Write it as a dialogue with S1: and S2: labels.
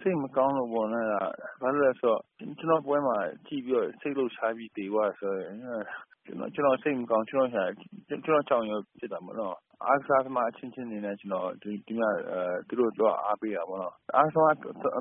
S1: စိတ်မကောင်းဘူးပေါ့။ ဘာဖြစ်လို့လည်း ဆိုတော့ ကျနော့်ပွဲမှာ ကြည့် ပြီးတော့ စိတ်လှုပ်ရှားပြီး သေသွားတယ် ဆိုတော့ ကျနော် စိတ်မကောင်းဘူး။ ကျနော့်ကြောင့် ဖြစ်တာပေါ့နော်။ အားကစားသမား အချင်းချင်းအနေနဲ့ ဒီမှာ ကျနော် သူတို့ သွားအားပေးတာ ပေါ့နော်။ အားကစား